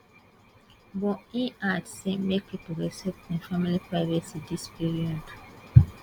but im add say make pipo respect im family privacy dis period